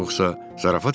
Yoxsa zarafat eləyirsən?